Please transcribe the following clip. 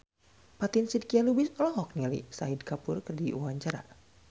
Fatin Shidqia Lubis olohok ningali Shahid Kapoor keur diwawancara